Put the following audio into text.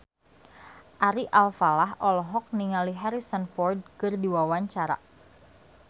Ari Alfalah olohok ningali Harrison Ford keur diwawancara